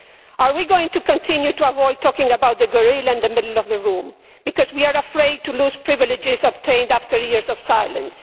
Are we going to continue to avoid talking about the gorilla in the middle of the room because we are afraid to lose privileges obtained after years of silence?